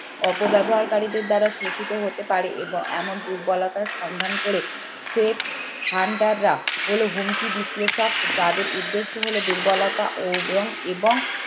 অপব্যবহারকারীদের দ্বারা শোষিত হতে পারে এবং এমন দুর্বলতার সন্ধান করে হলো হুমকি বিশ্লেষক যাদের উদ্দেশ্য হলো দুর্বলতা ও বং এবং